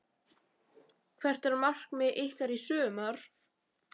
Hvert er markmið ykkar í sumar?